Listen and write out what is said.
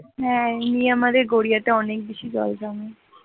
হ্যাঁ নিয়ে আমাদের গড়িয়াতে অনেক বেশি জল জমে